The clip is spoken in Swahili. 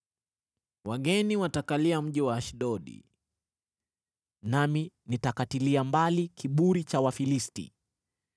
Wageni watakalia mji wa Ashdodi, nami nitakatilia mbali kiburi cha Wafilisti.